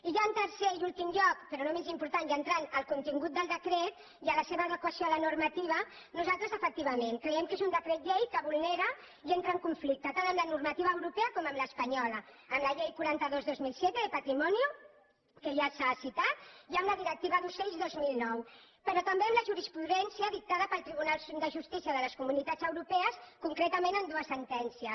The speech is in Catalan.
i ja en tercer i últim lloc però no menys important i entrant al contingut del decret i a la seva adequació a la normativa nosaltres efectivament creiem que és un decret llei que vulnera i entra en conflicte tant amb la normativa europea com amb l’espanyola amb la llei quaranta dos dos mil set derectiva d’ocells dos mil nou però també amb la jurisprudència dictada pel tribunal de justícia de les comunitats europees concretament en dues sentències